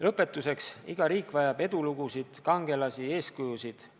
Lõpetuseks: iga riik vajab edulugusid, kangelasi, eeskujusid.